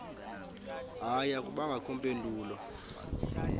hayi akubangakho mpendulo